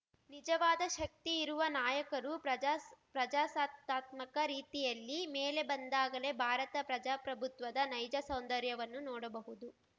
ನಿಜವಾದ ಶಕ್ತಿಯಿರುವ ನಾಯಕರು ಪ್ರಜಾಸ್ ಪ್ರಜಾಸತ್ತಾತ್ಮಕ ರೀತಿಯಲ್ಲಿ ಮೇಲೆ ಬಂದಾಗಲೇ ಭಾರತ ಪ್ರಜಾಪ್ರಭುತ್ವದ ನೈಜ ಸೌಂದರ್ಯವನ್ನು ನೋಡಬಹುದು